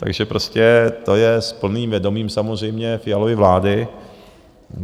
Takže prostě to je s plným vědomím samozřejmě Fialovy vlády.